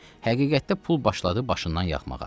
Həqiqətdə pul başladı başından yağmağa.